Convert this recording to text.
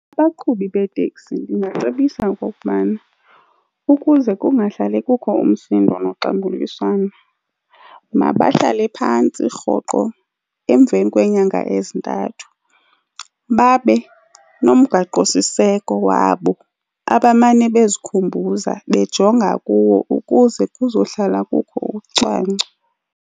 Abaqhubi beeteksi ndingacebisa okokubana ukuze kungahlali kukho umsindo noxambuliswano, mabahlale phantsi rhoqo emveni kweenyanga ezintathu babe nomgaqosiseko wabo abamane bezikhumbuza bejonga kuwo ukuze kuzohlala kukho ucwangco.